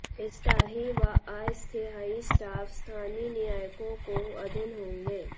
स्थायी व अस्थायी स्टाफ स्थानीय निकायों को अधीन होंगे